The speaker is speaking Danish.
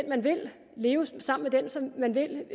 man vil leve sammen med den som man vil